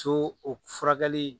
To o furakɛli